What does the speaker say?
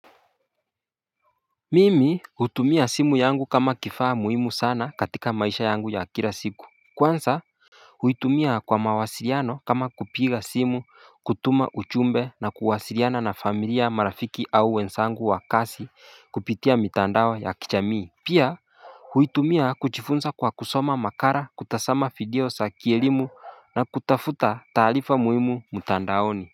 Mimi hutumia simu yangu kama kifaa muhimu sana katika maisha yangu ya kira siku kwansa huitumia kwa mawasiriano kama kupiga simu kutuma uchumbe na kuhasiriana na familia marafiki au wensangu wa kasi kupitia mitandao ya kichamii. Pia huitumia kujifunsa kwa kusoma makara kutasama video sa kielimu na kutafuta taalifa muhimu mutandaoni.